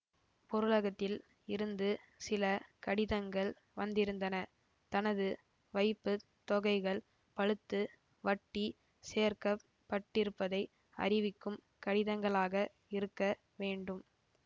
பொருளகத்தில் இருந்து சில கடிதங்கள் வந்திருந்தன தனது வைப்பு தொகைகள் பழுத்து வட்டி சேர்க்க பட்டிருப்பதை அறிவிக்கும் கடிதங்களாக இருக்க வேண்டும்